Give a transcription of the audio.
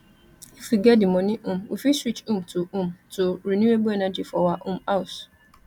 if we get di money um we fit switch um to um to renewable energy for our um house